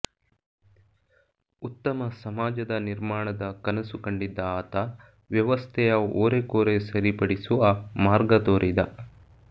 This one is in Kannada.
ಉತ್ತಮ ಸಮಾಜಜ ನಿರ್ಮಾಣದ ಕನಸು ಕಂಡಿದ್ದ ಆತ ವ್ಯವಸ್ಥೆಯ ಓರೆಕೋರೆ ಸರಿಪಡಿಸುವ ಮಾರ್ಗ ತೋರಿದ